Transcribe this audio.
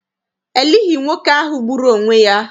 E lighị nwoke ahụ gburu onwe ya.